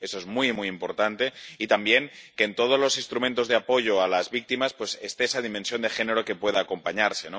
Eso es muy, muy importante, y también que, en todos los instrumentos de apoyo a las víctimas, esté esa dimensión de género que pueda acompañarse.